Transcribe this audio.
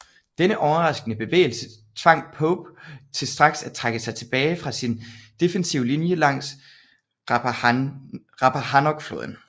Denne overraskende bevægelse tvang Pope til straks at trække sig tilbage fra sin defensive linje langs Rappahannockfloden